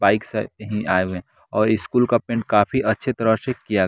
Bike से ही आए हुए हैं और स्कूल का पेंट काफी अच्छी तरह से किया ।